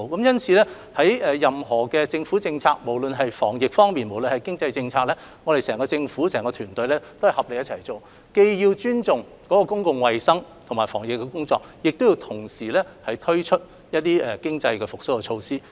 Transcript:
因此，任何政府政策，不論是防疫工作還是經濟政策，整個政府團隊均須合力進行，既尊重公共衞生和防疫需要，亦要推出經濟復蘇措施。